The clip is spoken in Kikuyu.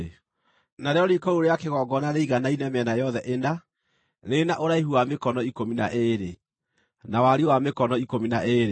Narĩo riiko rĩu rĩa kĩgongona rĩiganaine mĩena yothe ĩna, rĩrĩ na ũraihu wa mĩkono ikũmi na ĩĩrĩ, na wariĩ wa mĩkono ikũmi na ĩĩrĩ.